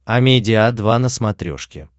амедиа два на смотрешке